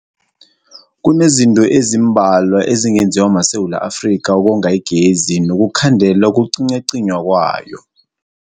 Kunezinto ezimbalwa ezingenziwa maSewula Afrika ukonga igezi nokukhandela ukucinywacinywa kwayo.